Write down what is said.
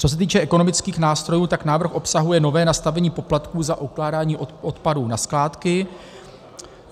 Co se týče ekonomických nástrojů, tak návrh obsahuje nové nastavení poplatků za ukládání odpadů na skládky.